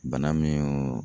Bana min